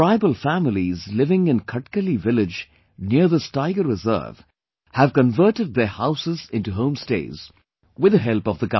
Tribal families living in Khatkali village near this Tiger Reserve have converted their houses into home stays with the help of the government